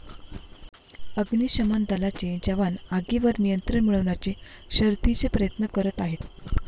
अग्निशमन दलाचे जवान आगीवर नियंत्रण मिळवण्याचे शर्थीचे प्रयत्न करत आहेत.